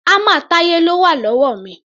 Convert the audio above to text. Hámà Táyé ló wà lọ́wọ́ mi.